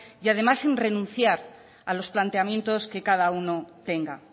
y además sin renunciar a los planteamientos que cada uno tenga